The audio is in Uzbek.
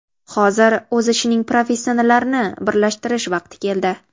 Hozir o‘z ishining professionallarini birlashtirish vaqti keldi.